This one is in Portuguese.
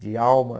De alma.